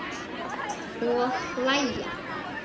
Og hlæja.